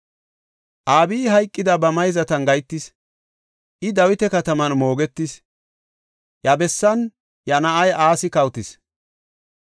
Abiyi hayqidi ba mayzatan gahetis; I Dawita Kataman moogetis; iya bessan iya na7ay Asi kawotis.